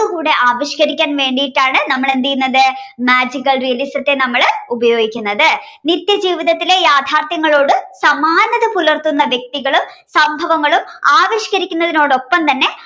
അതുകൂടെ ആവിഷ്കരിക്കാൻ വേണ്ടിയിട്ടാണ് നമ്മൾ എന്ത് ചെയ്യുന്നത് magical realism ത്തെ നമ്മള് ഉപയോഗിക്കുന്നത് നിത്യ ജീവിതത്തിലെ യാഥാർത്ഥ്യങ്ങളോട് സമാനത പുലർത്തുന്ന വ്യക്തികളും സംഭവങ്ങളും ആവിഷ്കരിക്കുന്നതിനോട് ഒപ്പം തന്നെ